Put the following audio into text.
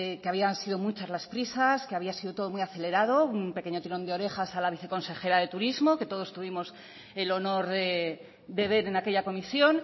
que habían sido muchas las prisas que había sido todo muy acelerado un pequeño tirón de orejas a la viceconsejera de turismo que todos tuvimos el honor de ver en aquella comisión